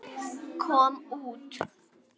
kom út.